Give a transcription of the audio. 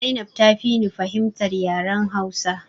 Zainab ta fi ni fahimtar yaren hausa